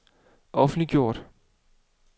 offentliggjort